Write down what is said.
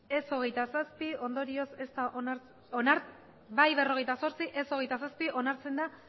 ez hogeita zazpi ondorioz onartzen da hogeita bostgarrena